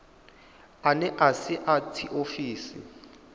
ane a si a tshiofisi